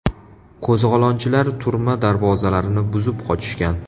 Qo‘zg‘olonchilar turma darvozalarini buzib qochishgan.